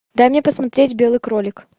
дай мне посмотреть белый кролик